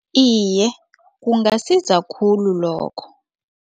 Iye, kungasiza khulu lokho.